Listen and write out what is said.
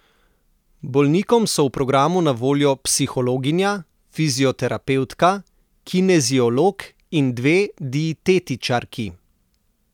Bolnikom so v programu na voljo psihologinja, fizioterapevtka, kineziolog in dve dietetičarki.